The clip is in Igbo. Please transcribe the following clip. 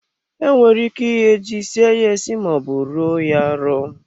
Enwere ike ighe ji, sie ye esi ma ọ bụ ruo ya arụ.